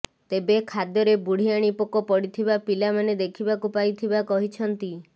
ତେବେ ଖାଦ୍ୟରେ ବୁଢିଆଣୀ ପୋକ ପଡ଼ିଥିବା ପିଲାମାନେ ଦେଖିବାକୁ ପାଇଥିବା କହିଛନ୍ତି